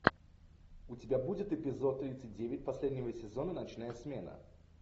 у тебя будет эпизод тридцать девять последнего сезона ночная смена